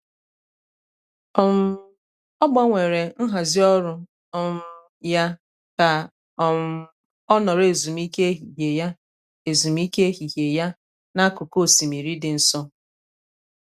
um ọ gbanwere nhazi ọrụ um ya ka um ọ nọrọ ezumike ehihie ya ezumike ehihie ya n'akụkụ osimiri dị nso.